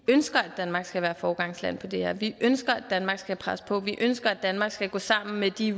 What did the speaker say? ønsker at danmark skal være foregangsland på det her område vi ønsker at danmark skal presse på vi ønsker at danmark skal gå sammen med de